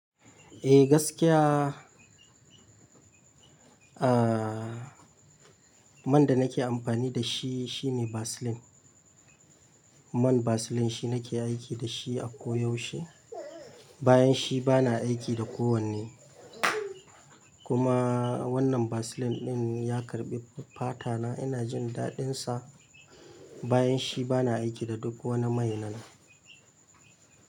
Eh gaskiya, ah, man da nake amfani da shi shine Vaseline. Man Vaseline shi nake aiki da shi a koyaushe. Bayan shi bana aiki da kowanne. Kuma wannan Vaseline ɗin ya karɓi fata na, ina jin daɗinsa. Bayan shi bana aiki da duk wani mai nan.